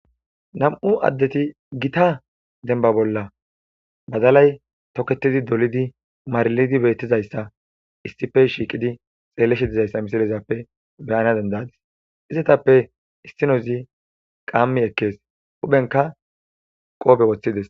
nam7u addeti gita denba bolla bazalay toketidi dolidi maralidi beettizayssa issife shiiqidi xeelleshe dizayssa misalezappe beyana dendadis izetappe issinozi qaammi ekkees uphenka qoobe woththides